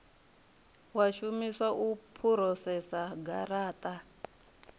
wa shumiswa u phurosesa garata